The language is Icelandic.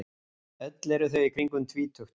Öll eru þau í kringum tvítugt